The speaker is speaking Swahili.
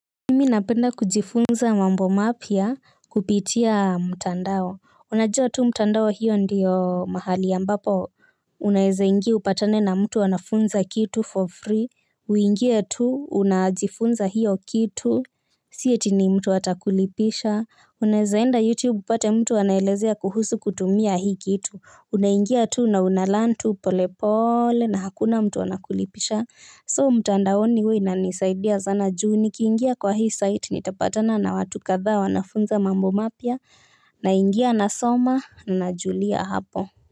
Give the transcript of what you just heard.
Mimi napenda kujifunza mambo mapya kupitia mtandao. Unajua tu mtandao hio ndio mahali ambapo unaeza ingia upatane na mtu anafunza kitu for free. Uingie tu unajifunza hio kitu sii eti ni mtu atakulipisha. Unaeza enda Youtube upate mtu anaelezea kuhusu kutumia hii kitu. Unaingia tu na una learn tu polepole na hakuna mtu anakulipisha. So mtandaoni hua inanisaidia sana juu nikiingia kwa hii site nitapatana na watu kadhaa wanafunza mambo mapya. Na ingia na soma na julia hapo.